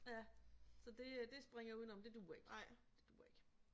Ja så det øh det springer jeg udenom det duer ikke det duer ikke